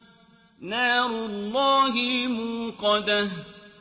نَارُ اللَّهِ الْمُوقَدَةُ